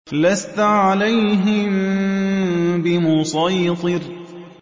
لَّسْتَ عَلَيْهِم بِمُصَيْطِرٍ